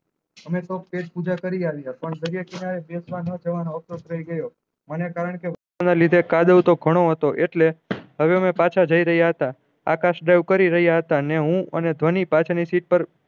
અમે તો પેટ પૂજા કરી આલી પણ દરિયા કિનારે બેસવા ન જવાનો હતો તોઈ જ્યો મને કારણ કે એના લીધે કાદવ તો ઘણો હતો એટલે હવે અમે પાછા જયી રહ્યા હતા આકાશ drive કરી રહ્યા હતા ને હું ને ધ્વની પાછળ ની સીટ પર